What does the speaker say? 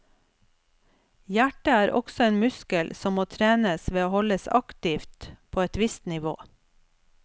Hjertet er også en muskel som må trenes ved å holdes aktivt på et vist nivå.